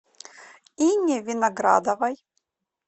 ине виноградовой